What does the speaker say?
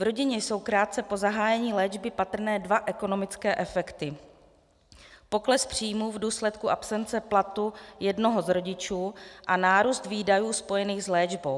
V rodině jsou krátce po zahájení léčby patrné dva ekonomické efekty - pokles příjmů v důsledku absence platu jednoho z rodičů a nárůst výdajů spojených s léčbou.